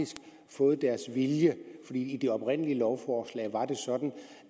fået deres vilje i det oprindelige lovforslag var det sådan